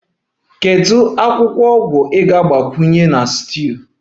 Kedu ogwu ị ga-agbakwunye na stew?